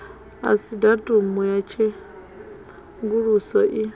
asi datumu ya tshenguluso i